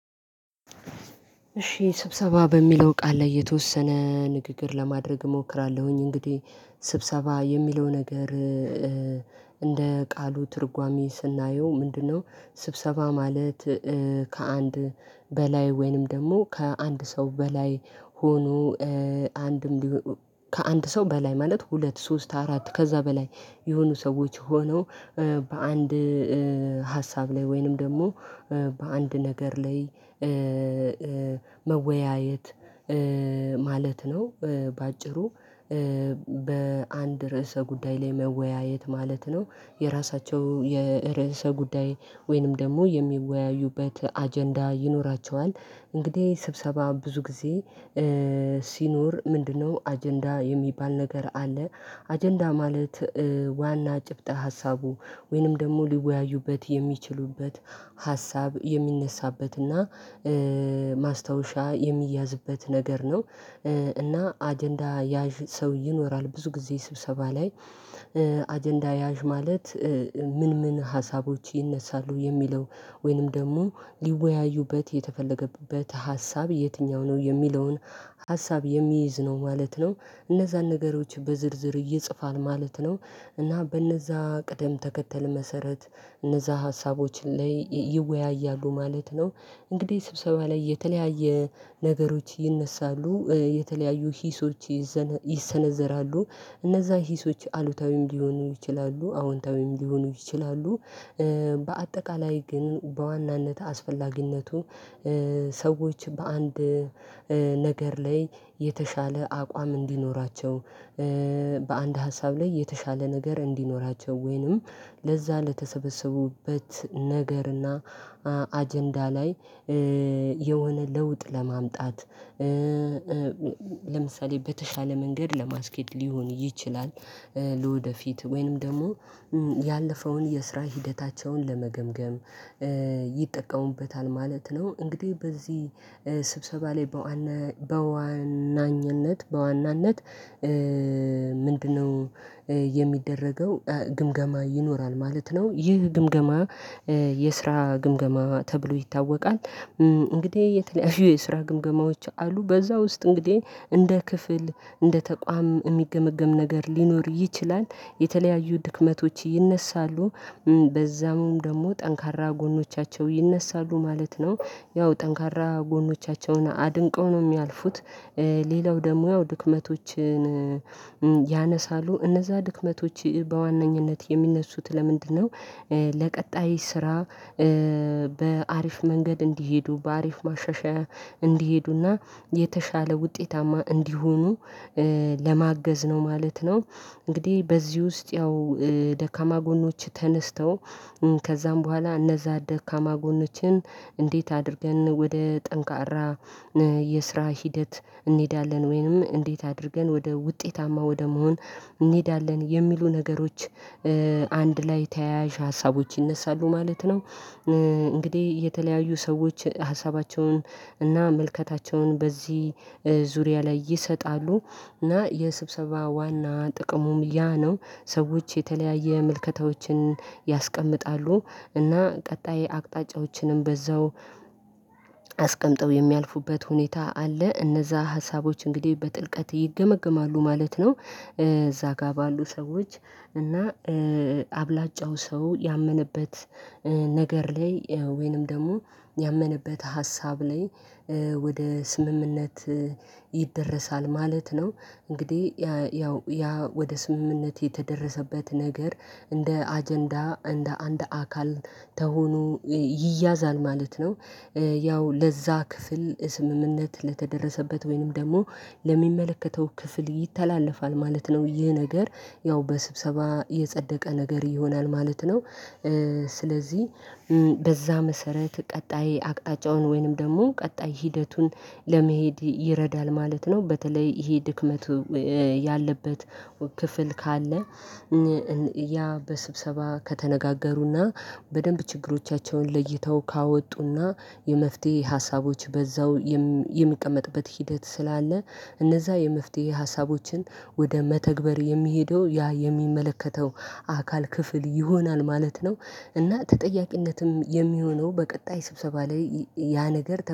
እሺ ስብሰባ በሚለው ቃል ላይ የተወሰነ ንግግር ለማድረግ እሞክራለሁኝ እንግዲህ ስብሰባ የሚለው ነገር እንደ ቃሉ ትርጓሜ ስናየው ምንድነው? ስብሰባ ማለት ከአንድ በላይ ወይንም ደግሞ ከአንድ ሰው በላይ ሆኖ አንድ ከአንድ ሰው በላይ ማለት ሁለት ሶስት አራት ከዛ በላይ የሆኑ ሰዎች ሆነው በአንድ ሀሳብ ላይ ወይንም ደግሞ በአንድ ነገር ላይ መወያየት ማለት ነው። በአጭሩ በአንድ ርዕሰ ጉዳይ ላይ መወያየት ማለት ነው። የራሳቸው የርዕሰ ጉዳይ ወይንም ደግሞ የሚወያዩበት አጀንዳ ይኖራቸዋል እንግዲህ ስብሰባ ብዙ ጊዜ ሲኖር ምንድነው አጀንዳ የሚባል ነገር አለ። አጀንዳ ማለት ዋና ጭብጥ ሀሳቡ ወይንም ደግሞ ሊወያዩበት የሚችሉበት ሀሳብ የሚነሳበትና ማስታወሻ የሚያዝበት ነገር ነው። እና አጀንዳ ያዥ ሰው ይኖራል ብዙ ጊዜ ስብሰባ ላይ አጀንዳ ያዥ ማለት። ምን ምን ሀሳቦች ይነሳሉ የሚለው ወይንም ደግሞ ሊወያዩበት የተፈለገበት ሀሳብ የትኛው ነው የሚለውን ሀሳብ የሚይዝ ነው ማለት ነው። እነዛን ነገሮች በዝርዝር ይጽፋል ማለት ነው። እና በእነዛ ቅደም ተከተል መሰረት እነዛ ሀሳቦች ላይ ይወያያሉ ማለት ነው። እንግዲህ ስብሰባ ላይ የተለያየ ነገሮች ይነሳሉ የተለያዩ ሂሶች ይዘን ይሰነዘራሉ እነዛ ሂሶች አሉታዊም ሊሆኑ ይችላሉ አዎንታዊም ሊሆኑ ይችላሉ። በአጠቃላይ ግን በዋናነት አስፈላጊነቱ ሰዎች በአንድ ነገር ላይ የተሻለ አቋም እንዲኖራቸው በአንድ ሀሳብ ላይ የተሻለ ነገር እንዲኖራቸው ወይንም ለዛ ለተሰበሰቡበት ነገርና አጀንዳ ላይ የሆነ ለውጥ ለማምጣት ለምሳሌ በተሻለ መንገድ ለማስኬድ ሊሆን ይችላል። ለወደፊት ወይንም ደግሞ ያለፈውን የስራ ሂደታቸውን ለመገምገም ይጠቀሙበታል ማለት ነው። እንግዲህ በዚህ ስብሰባ ላይ በዋና በዋናኝነት በዋናነት ምንድነው? የሚደረገው ግምገማ ይኖራል ማለት ነው ይህ ግምገማ የስራ ግምገማ ተብሎ ይታወቃል። እንግዲህ የተለያዩ የስራ ግምገማዎች አሉ በዛ ውስጥ እንግዲህ እንደ ክፍል እንደ ተቋም የሚገመገም ነገር ሊኖር ይችላል የተለያዩ ድክመቶች ይነሳሉ። በዛም ደግሞ ጠንካራ ጎኖቻቸው ይነሳሉ ማለት ነው ያው ጠንካራ ጎኖቻቸውን አድንቀው ነው የሚያልፉት። ሌላው ደግሞ ያው ድክመቶችን ያነሳሉ እነዛ ድክመቶች በዋነኝነት የሚነሱት ለምንድነው? ለቀጣይ ስራ በአሪፍ መንገድ እንዲሄዱ በአሪፍ ማሻሻያ እንዲሄዱና የተሻለ ውጤታማ እንዲሆኑ ለማገዝ ነው ማለት ነው። እንግዲህ በዚህ ውስጥ ያው ደካማ ጎኖች ተነስተው ከዛም በኋላ እነዛ ደካማ ጎኖችን እንዴት አድርገን ወደ ጠንካራ የስራ ሂደት እንሄዳለን ወይንም እንዴት አድርገን ወደ ውጤታማ ወደ መሆን እንሄዳለን የሚሉ ነገሮች አንድ ላይ ተያያዥ ሀሳቦች ይነሳሉ ማለት ነው። እንግዲህ የተለያዩ ሰዎች ሀሳባቸውን እና ምልከታቸውን በዚህ ዙሪያ ላይ ይሰጣሉ። እና የስብሰባ ዋና ጥቅሙም ያ ነው ሰዎች የተለያየ ምልከታዎችን ያስቀምጣሉ እና ቀጣይ አቅጣጫዎችንም በዛው አስቀምጠው የሚያልፉበት ሁኔታ አለ እነዛ ሀሳቦች እንግዲህ በጥልቀት ይገመግማሉ ማለት ነው። እዛ ጋር ባሉ ሰዎች እና አብላጫው ሰው ያመነበት ነገር ላይ ወይንም ደግሞ ያመነበት ሀሳብ ላይ ወደ ስምምነት ይደረሳል ማለት ነው። እንግዲህ ያው ያ ወደ ስምምነት የተደረሰበት ነገር እንደ አጀንዳ እንደ አንድ አካል ተሁኖ ይያዛል ማለት ነው። ያው ለዛ ክፍል ስምምነት ለተደረሰበት ወይንም ደግሞ ለሚመለከተው ክፍል ይተላለፋል ማለት ነው። ይህ ነገር ያው በስብሰባ የጸደቀ ነገር ይሆናል ማለት ነው። ስለዚህ በዛ መሰረት ቀጣይ አቅጣጫውን ወይንም ደግሞ ቀጣይ ሂደቱን ለመሄድ ይረዳል ማለት ነው። በተለይ ይሄ ድክመቱ ያለበት ክፍል ካለ ያ በስብሰባ ከተነጋገሩና በደንብ ችግሮቻቸውን ለይተው ካወጡና የመፍትሄ ሀሳቦች በዛው የሚቀመጥበት ሂደት ስላለ እነዛ የመፍትሄ ሀሳቦችን ወደ መተግበር የሚሄደው ያ የሚመለከተው አካል ክፍል ይሆናል ማለት ነው። እና ተጠያቂነትም የሚሆነው በቀጣይ ስብሰባ ላይ ያ ነገር